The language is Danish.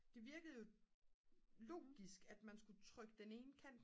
det virkede logisk at man skulle trykke den ene kant